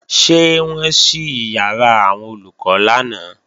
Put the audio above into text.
Ṣé wọ́n ṣí ìyàrá àwọn Olùkọ́ lánàá?